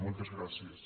moltes gràcies